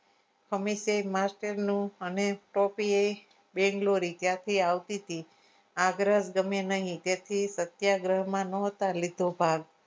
અમે તે master નું અમે ટોપી બેન્ગ્લોરી ક્યાંથી આવતી આગ્રહ ગમે એના સત્યાગ્રહમાં નાં હતા લીધો ભાગ